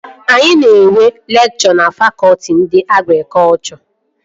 Anyị na-enwe lekchọ na fakọtị nke agrikọchọ